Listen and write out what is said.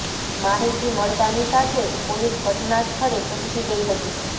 માહિતી મળતાની સાથે જ પોલીસ ઘટના સ્થળે પહોંચી ગઈ હતી